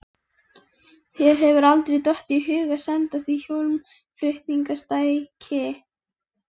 Þér hefur aldrei dottið í hug að senda því hljómflutningstæki?